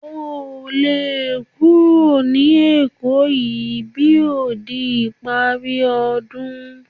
O lo lè kúrò ní Èkó yìí bí ò di ìparí ọdún